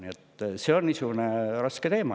Nii et on raske teema.